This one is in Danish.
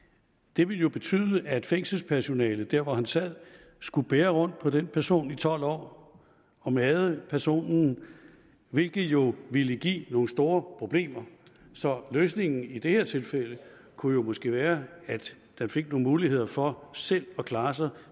det ville jo betyde at fængselspersonalet der hvor han sad skulle bære rundt på den person i tolv år og made personen hvilket jo ville give nogle store problemer så løsningen i det her tilfælde kunne måske være at han fik nogle muligheder for selv at klare sig